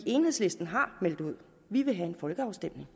enhedslisten har meldt ud vi vil have en folkeafstemning